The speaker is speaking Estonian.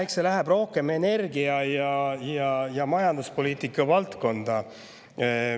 Eks see läheb rohkem energia- ja majanduspoliitika valdkonda.